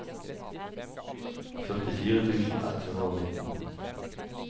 førtifire tusen ett hundre og nitten